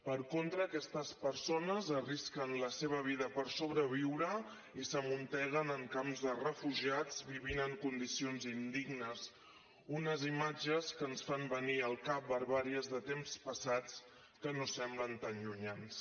per contra aquestes persones arrisquen la seva vida per sobreviure i s’amunteguen en camps de refugiats i viuen en condicions indignes unes imatges que ens fan venir al cap barbàries de temps passats que no semblen tan llunyans